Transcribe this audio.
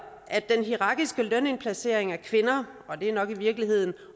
at den hierarkiske lønindplacering af kvinder og det er nok i virkeligheden